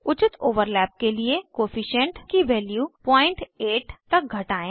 उचित ओवरलैप के लिए कोअफिशन्ट की वैल्यू 08 तक घटायें